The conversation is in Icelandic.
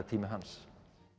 tími hans